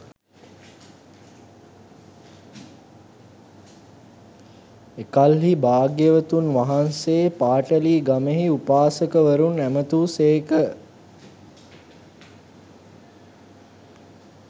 එකල්හී භාග්‍යවතුන් වහන්සේ පාටලීගමෙහි උපාසකවරුන් ඇමතූ සේක